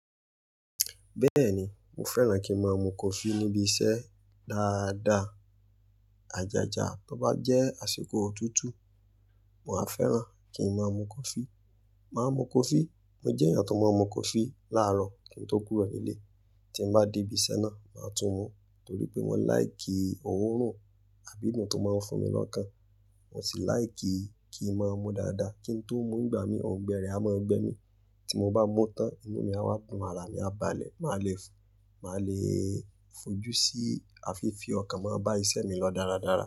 Bẹ́ẹ̀ni, mo fẹ́ràn kí ń máa mu coffee níbi iṣẹ́ dáadáa. Ajaja, tó bá jẹ́ àsìkò òtútù, mà á fẹ́ràn kí ń máa mu coffee. Máa mu coffee. Mo jẹ́ èèyàn tó máa ń mu coffee láàárọ̀ kí n tó kúrò nílé. Tí m bá dé ibi iṣẹ́ náà, màá tún mú torí pé mo láì kí òórùn àbí ìdùnnú tó máa ń fún mi lọ́kàn. Mo sì láì kí, kí ń máa mu dáadáa. Kí n tó mú ń gbà mí, ọ̀gbẹ́rẹ́ á mọ́ ọgbẹ́ mi. Tí mo bá mu tán, inú mi á wà, arà mi á balẹ̀, màá le fò, màá le fojú sí àfiífi ọkàn, màá bá iṣẹ́ mi lọ dáradára.